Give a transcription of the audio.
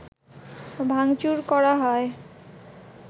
ভাঙচুর করা হয়